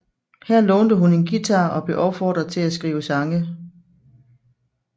Her lånte hun en guitar og blev opfordret til at skrive sange